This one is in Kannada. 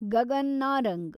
ಗಗನ್ ನಾರಂಗ್